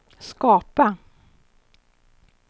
skapa